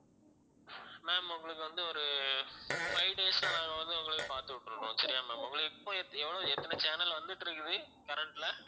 ma'am உங்களுக்கு வந்து ஒரு five days ல நாங்க வந்து உங்களுக்கு பார்த்து விட்டுடறோம் சரியா ma'am உங்களுக்கு இப்ப எத்~ எவ்வளவு எத்தனை channel வந்துகிட்டிருக்குது current ல